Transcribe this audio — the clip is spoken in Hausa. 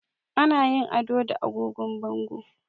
Ana yin ado da agogon bango